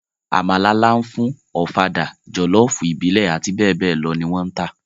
Àmàlà lááfún, Ọ̀fadà, jọ̀lọ́ọ̀fù ìbílẹ̀ àti bẹ́ẹ̀ bẹ́ẹ̀ lọ ni wọ́n ń tà